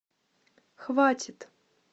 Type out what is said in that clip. хватит